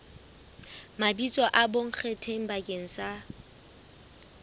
mabitso a bonkgetheng bakeng sa